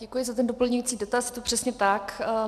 Děkuji za ten doplňující dotaz, je to přesně tak.